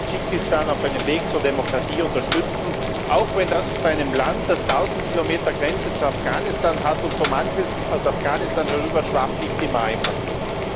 Wir müssen Tadschikistan auf seinem Weg zur Demokratie unterstützen, auch wenn das bei einem Land, das tausend Kilometer Grenze zu Afghanistan hat und in das so manches aus Afghanistan herüberschwappt, nicht immer einfach ist.